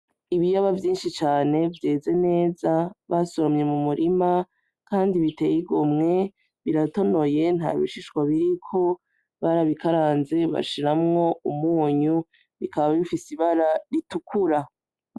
Ibiyoba vyinshi cane vyeze neza basoromye mu murima kandi biteye igomwe biratonoye ntabishishwa biriko barabikaranze bashiramwo umunyu bikaba bifise ibara ritukura.